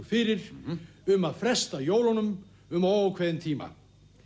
fyrir um að fresta jólunum um óákveðinn tíma